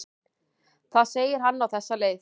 Þar segir hann á þessa leið: